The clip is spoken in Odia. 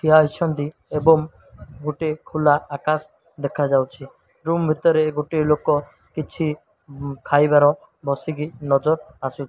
ଇଆ ଅଛନ୍ତି ଏବଂ ଗୋଟିଏ ଖୋଲା ଆକାଶ ଦେଖାଯାଉଛି ରୁମ୍ ଭିତରେ ଗୋଟିଏ ଲୋକ କିଛି ଉଁ ଖାଇବାର ବସିକି ନଜର ଆସୁ --